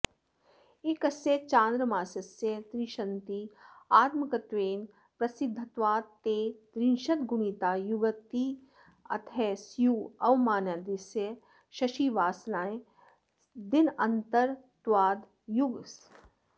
एकस्य चान्द्रमासस्य त्रिंशत्तिथ्यात्मकत्वेन प्रसिध्दत्वात् ते त्रिंशदगुणिता युगतिथयः स्युः अवमदिनस्य शशिसावन दिनान्तरत्वाद् युगसावनयुगचन्द्रदिनान्तरं युगावमदिनानि